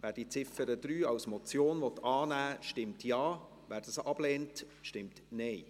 Wer die Ziffer 3 als Motion annehmen will, stimmt Ja, wer dies ablehnt, stimmt Nein.